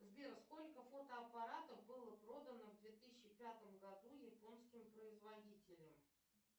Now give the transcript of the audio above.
сбер сколько фотоаппаратов было продано в две тысячи пятом году японским производителем